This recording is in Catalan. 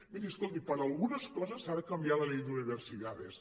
miri escolti per a algunes coses s’ha de canviar la ley de universi·dades